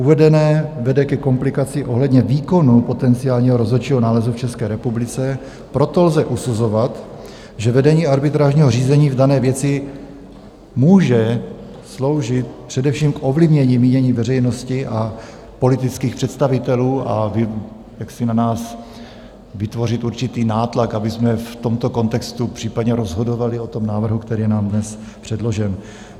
Uvedené vede ke komplikaci ohledně výkonu potenciálního rozhodčího nálezu v České republice, proto lze posuzovat, že vedení arbitrážního řízení v dané věci může sloužit především k ovlivnění mínění veřejnosti a politických představitelů a jaksi na nás vytvořit určitý nátlak, abychom v tomto kontextu případně rozhodovali o tom návrhu, který je nám dnes předložen.